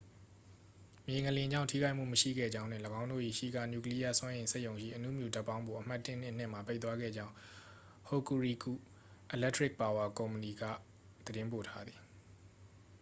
မြေငလျင်ကြောင့် ထိခိုက်မှုမရှိခဲ့ကြောင်းနှင့် ၎င်းတို့၏ ရှီကာ နျူကလီးယားစွမ်းအင် စက်ရုံရှိ အဏုမြူဓါတ်ပေါင်းဖို အမှတ် 1 နှင့် 2 မှာ ပိတ်သွားခဲ့ကြောင်း hokuriku electric power co က သတင်းပို့ထားသည်